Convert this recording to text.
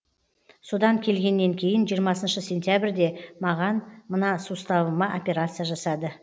содан келгеннен кейін жиырмасыншы сентябрьде маған мына суставыма операция жасады